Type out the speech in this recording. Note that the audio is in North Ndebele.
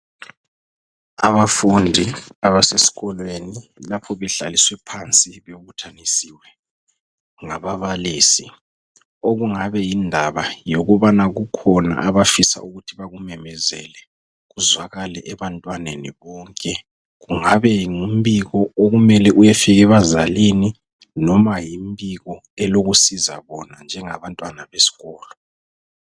Abafundi abasesikolweni lapho behlaliswe phansi bebuthanisiwe ngababalisi okungabe yindaba yokubana kukhona abafisa ukuthi bakumemezele kuzwakale ebantwaneni bonke. Kungabe ngumbiko okumele uyefika ebazalini noma yimbiko elokusiza bona njengabantwana besikolo.